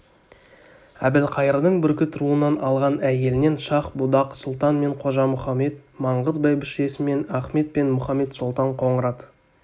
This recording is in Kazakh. әбілқайырдың бүркіт руынан алған әйелінен шах-будақ сұлтан мен қожа мұхамед маңғыт бәйбішесінен ахмет пен мұхамет-сұлтан қоңырат